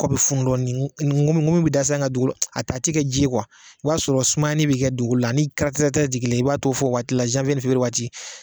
Kɔ bi funu dɔɔni n ngomo ngomi da sa nga dugukolo a ta a ti kɛ ji ye kuwa o y'a sɔrɔ sumayani bi kɛ dugukolo la ni kara kara ka jigin i b'ao fɔ waati la zanwiye ni fewuriye waati